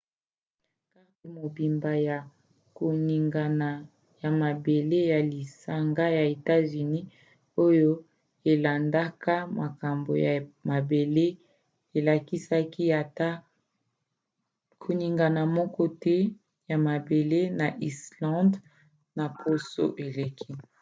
karte mobimba ya koningana ya mabele ya lisanga ya etats-unis oyo elandelaka makambo ya mabele elakisaki ata koningana moko te ya mabele na islande na poso eleki